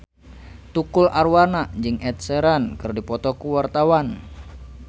Tukul Arwana jeung Ed Sheeran keur dipoto ku wartawan